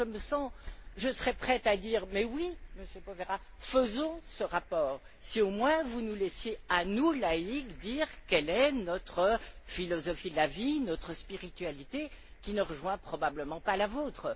Je serais prête à dire mais oui, Monsieur Provera, faisons ce rapport, si au moins, vous nous laissiez, à nous, laïcs, dire quelle est notre philosophie de la vie, notre spiritualité, qui ne rejoignent probablement pas la vôtre.